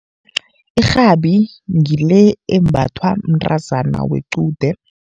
Irhabi ngile embathwa mntazana wequde.